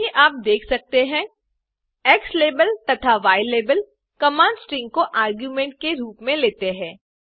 जैसा कि आप देख सकते हैं ज़्लाबेल तथा यलाबेल कमांड स्ट्रिंग को आर्ग्युमेंट के रूप में लेते है